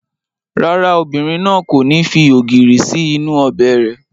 Rárá, obìnrin náà kò ní fi ògìrì sí inú ọbẹ̀ rẹ̀